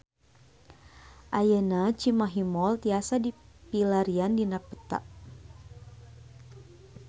Ayeuna Cimahi Mall tiasa dipilarian dina peta